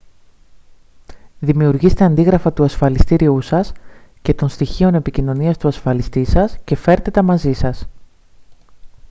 δημιουργήστε αντίγραφα του ασφαλιστηρίου σας και των στοιχείων επικοινωνίας του ασφαλιστή σας και φέρτε τα μαζί σας